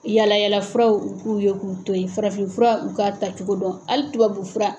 Yalayalafuraw u k'u ye k'u to ye farafinfura u k'a tacogo dɔn hali tubabufura.